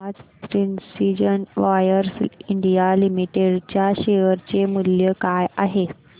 आज precision wires India limited च्या share चे मूल्य काय आहे